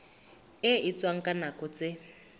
e etswang ka nako tse